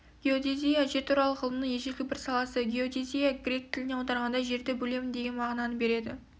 геодезия жер туралы ғылымның ежелгі бір саласы геодезия грек тілінен аударғанда жерді бөлемін деген мағынаны береді